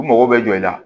U mago bɛ jɔ i la